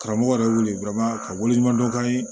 Karamɔgɔ yɛrɛ wele ka wele ɲuman dɔn k'a ye